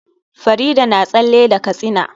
Farida na tsalle da katsina